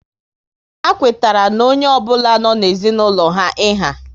Ha kwetara na onye ọ bụla nọ n'ezinaulo ha iha